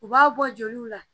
U b'a bɔ joliw la